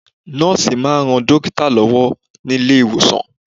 Noòsì máa ń ran dókítà lọ́wọ́ nílé ìwòsàn.